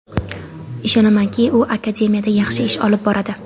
Ishonamanki, u akademiyada yaxshi ish olib boradi.